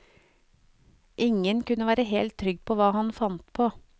Ingen kunne være helt trygg på hva han fant på.